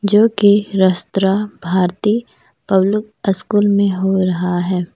जो की Rashtra Bharati public school में हो रहा है।